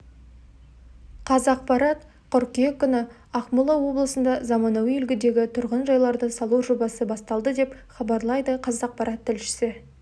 қазақпарат қыркүйек күні ақмола облысында заманауи үлгідегі тұрғын жайларды салу жобасы басталды деп хабарлайды қазақпарат тілшісі